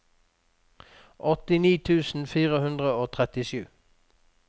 åttini tusen fire hundre og trettisju